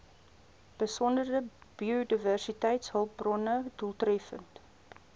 besondere biodiversiteitshulpbronne doeltreffend